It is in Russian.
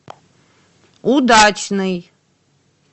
удачный